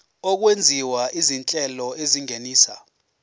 okwenziwa izinhlelo ezingenisa